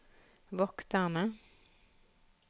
vokterne